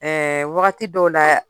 Ɛɛ wagati dɔw la